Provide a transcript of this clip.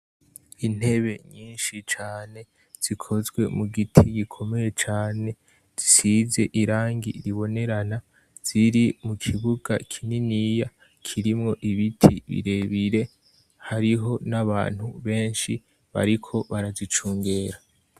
Intebe nyinshi cane, zikozwe mu giti gikomeye cane, zisize irangi ribonerana, ziri mu kibuga kininiya kirimwo ibiti birebire hariho n'abantu benshi bariko barazicungera.